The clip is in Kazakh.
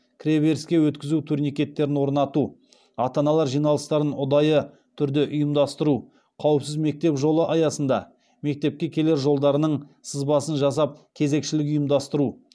кіреберіске өткізу турникеттерін орнату ата аналар жиналыстарын ұдайы түрде ұйымдастыру қауіпсіз мектеп жолы аясында мектепке келер жолдарының сызбасын жасап кезекшілік ұйымдастыру